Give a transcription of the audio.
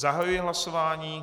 Zahajuji hlasování.